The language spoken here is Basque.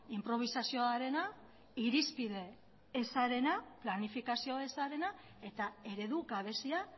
inprobisazioarena irizpide ezarena planifikazio ezarena eta eredu gabezia